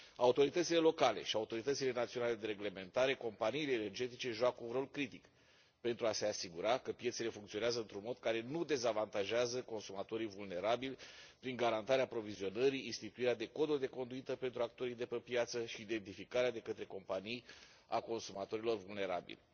Autoritățile locale și autoritățile naționale de reglementare, companiile energetice joacă un rol critic pentru a se asigura că piețele funcționează într un mod care nu dezavantajează consumatorii vulnerabili prin garantarea aprovizionării, instituirea de coduri de conduită pentru actorii de pe piață și identificarea de către companii a consumatorilor vulnerabili.